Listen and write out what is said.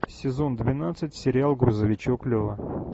сезон двенадцать сериал грузовичок лева